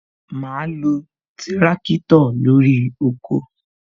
Ma lo tirakitọ lórí oko